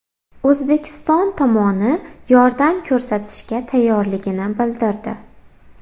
O‘zbekiston tomoni yordam ko‘rsatishga tayyorligini bildirdi.